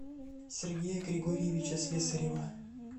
сергея григорьевича слесарева